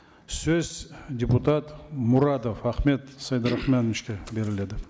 сөз депутат мұрадов ахмет сейдарахмановичке беріледі